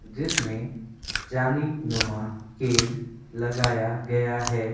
जिसमें जाली नुमा केज लगाया गया है।